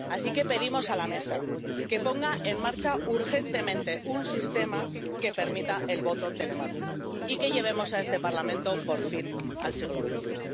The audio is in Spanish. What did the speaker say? Así que pedimos a la Mesa que ponga en marcha urgentemente un sistema que permita el voto telemático, y que llevemos a este Parlamento por fin al siglo XXI.